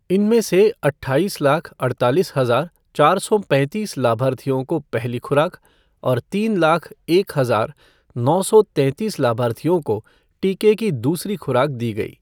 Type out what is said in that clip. इनमें से अट्ठाईस लाख अड़तालीस हजार चार सौ पैंतीस लाभार्थियों को पहली खुराक और तीन लाख एक हजार नौ सौ तैंतीस लाभार्थियों को टीके की दूसरी खुराक दी गई।